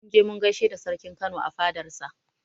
Mun je mun gaishe da sarkin Kano a fadar sa